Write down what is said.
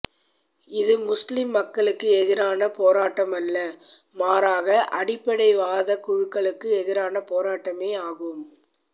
இது முஸ்லிம் மக்களுக்கு எதிரான போராட்டமல்ல மாறாக அடிப்படை வாத குழுக்களுக்கு எதிரான போராட்டமே ஆகும்